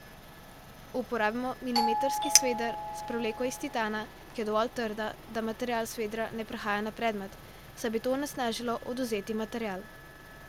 Uporabimo milimetrski sveder s prevleko iz titana, ki je dovolj trdna, da material s svedra ne prehaja na predmet, saj bi to onesnažilo odvzeti material.